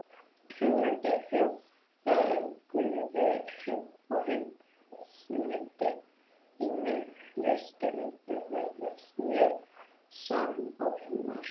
Hugmyndir þjóða um guði og heimsmyndir í Mið-Austurlöndum virðast mjög samofnar.